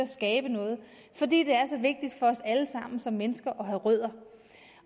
skabe noget fordi det er så vigtigt for os alle sammen som mennesker at have rødder